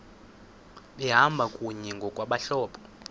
behamba kunye ngokwabahlobo